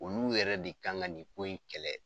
Olu yɛrɛ de kan ka nin ko in kɛlɛ.